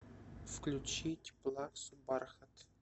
включить плаксу бархат